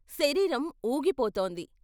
శరీరం వూగిపోతోంది.